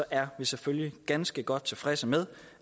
er vi selvfølgelig ganske godt tilfredse med